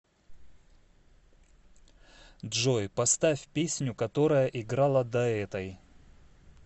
джой поставь песню которая играла до этой